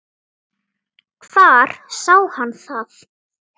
Hvar sá hann það?